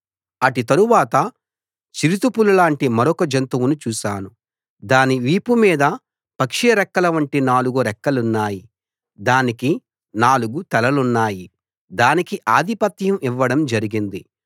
అటు తరువాత చిరుతపులివంటి మరొక జంతువును చూశాను దాని వీపు మీద పక్షిరెక్కలవంటి నాలుగు రెక్కలున్నాయి దానికి నాలుగు తలలున్నాయి దానికి ఆధిపత్యం ఇవ్వడం జరిగింది